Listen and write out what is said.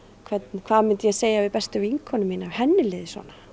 hvað myndi ég segja við bestu vinkonu mína ef henni liði svona